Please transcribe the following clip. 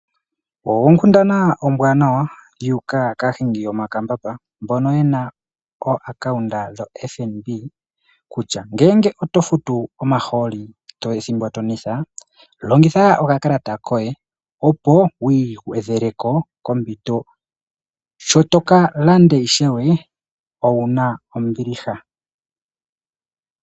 Onkundana ombwaanawa yuuka kaahingi yomakambamba mbono yena o akaunda yo Fnb kitya ngele oto futu omahooli ethimbo to nwetha longitha okakalata koye opo wi gwedheleleko kompito sho toka landa ishewe owuna ombiliha.